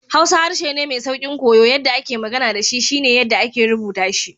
Hausa harshe ne mai sauƙin koya, yadda ake magana da shi shi ne yadda ake rubuta shi.